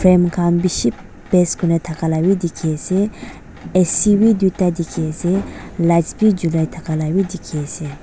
frame kan bishi paste kurina daka la b diki ase a c b tuita diki ase lights b julai daka la bi diki ase.